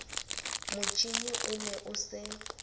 motjhine o ne o se